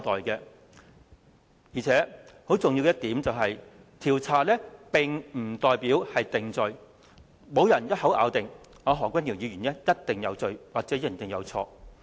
況且，更重要的一點是，調查並不代表定罪，沒有人一口咬定何君堯議員一定有罪或一定有錯。